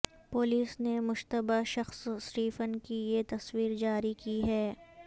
police نے مشتبہ شخص سٹیفن کی یہ تصویر جاری کی ہے